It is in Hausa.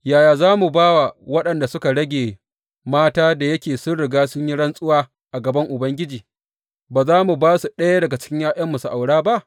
Yaya za mu ba wa waɗanda suka rage mata, da yake mun riga mun yi rantsuwa a gaban Ubangiji, ba za mu ba su ɗaya daga ’ya’yanmu su aura ba?